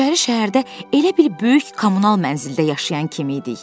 İçəri şəhərdə elə bir böyük kommunal mənzildə yaşayan kim idik?